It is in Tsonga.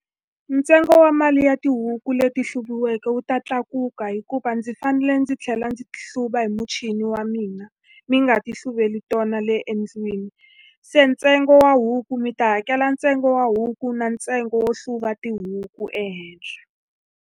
Ntsengo wa mali ya tihuku leti hluviweke wu ta tlakuka hikuva ndzi fanele ndzi tlhela ndzi hluva hi muchini wa mina, ni nga ti hluveli tona le endlwini. Se ntsengo wa huku, mi ta hakela ntsengo wa huku na ntsengo wo hluva tihuku le henhla.